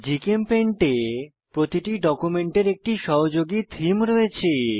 GChemPaint এ প্রতিটি ডকুমেন্টের একটি সহযোগী থীম রয়েছে